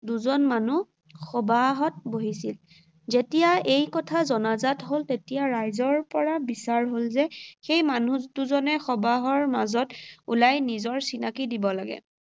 দুজন মানুহ সবাহত বহিছিল। যেতিয়া এই কথা জনাজাত হ’ল তেতিয়া ৰাইজৰ পৰা বিচাৰ হ’ল যে সেই মানুহ দুজনে সবাহৰ মাজত ওলাই নিজৰ চিনাকি দিব লাগে।